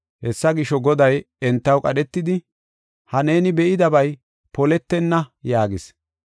Hessa gisho, Goday entaw qadhetidi, “Ha neeni be7idabay poletenna” yaagis.